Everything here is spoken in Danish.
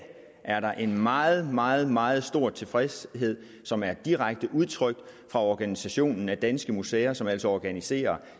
er der en meget meget meget stor tilfredshed som er direkte udtrykt fra organisationen danske museer som altså organiserer